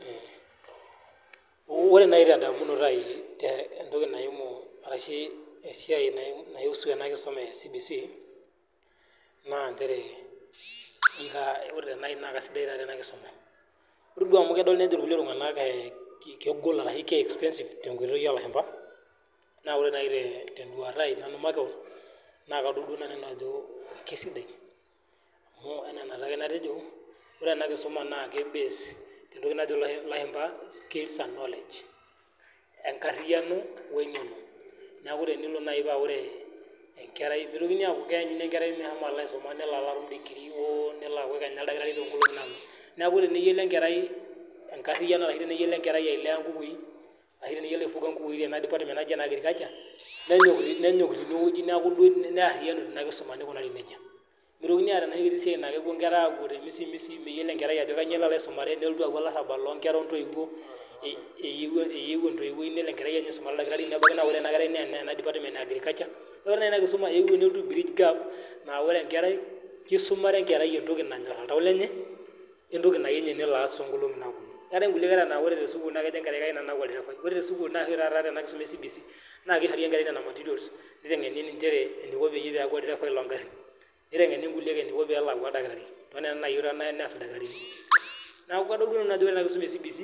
Ore naaji tendamunoti aai entoki naimu arushu esiai naisu ena kisuma e CBC naa injere ore naai naa kaisidai taatoi ena kisuma. Ore amu kedol kulie nejo ee kegol ashuu ke expensive tenkoitoi oolashumba, naa ore naiteduata ai makewon naa kadula naaji nanu kesidai amu enaa enaatake natejo, ore ena Kisumu ki base tentoki najo ilashumba skills and knowledge. Enkariano onkeno. Neeku tenelo naaji paaore enkerai mitokini aaku keanyuni enkerai meshomo alaisuma nelo aloaau digirii oo nelo alaaku kenyake oldalkitari toonkolinki naponu. Neeku teneyiolo enkerai tenkariyiano arashu teneyiolo enkerai ailea inkukukui ashu teneyiolo aifuga inkukukui tena department naaji naake ene agriculture, nenyok toi neeku ariyia teina kisuma aiko nejia. Mitokini aaku keetai enoshi kiti siai naa kepuo inkera apuo temisimisi, meyiolo enkerai ajo kanyio elo aisuma nelotu aaku olarabak loonkera intoiwuo, eyieu entoiwuoi nelo enkerai aisumare oldalkitari mebaiki naa ore ena kerai enana department ea agriculture, neeku ore nai inakisuma naakeyiou nelotu ai bridge gap naa ore enkarai kisumare enkerai entoki nanyorr oltau lenye, ontoki nayiu ninye nelo aas toonkolinki naponu. Neetai inkulie kera naa ore tesukuul naa kejo enkerai kayieu nanu naaku olderefai. Ore tesukuul oshi taata tene kisuma e CBC naa kishori enkerai nena matirioas nitenkeni injere ineko peelaku olderefai loogarin. Nitenkeni inkulie ineko pelaku oldalkitari. Neeku nena enare nelo aas. Neeku adol duo nanu ajo ore ena kisuma e CBC.